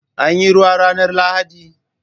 Anyi ruwa ranar lahadi?